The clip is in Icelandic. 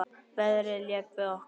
Veðrið lék við okkur.